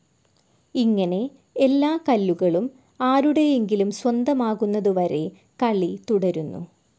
ഇങ്ങനെ, എല്ലാ കല്ലുകളും ആരുടെയെങ്കിലും സ്വന്തമാകുന്നതു വരെ കളി തുടരുന്നു.